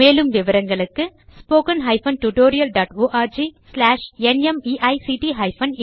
மேலும் விவரங்களுக்கு எங்கள் இணையதளத்தைக் காணவும் 1 தமிழாக்கம் பிரியா